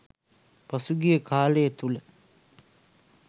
පසුගිය කාලය තුළ